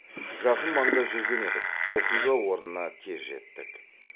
жақын маңда жүрген едік оқиға орнына тез жеттік